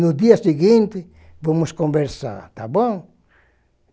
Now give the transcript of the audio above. No dia seguinte, vamos conversar, tá bom?